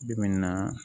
Bi bi in na